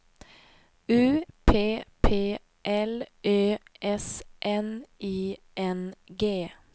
U P P L Ö S N I N G